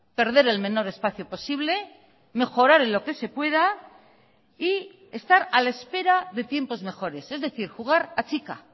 perder el menor espacio posible mejorar en lo que se pueda y estar a la espera de tiempos mejores es decir jugar a chica